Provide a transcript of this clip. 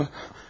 Nə olur?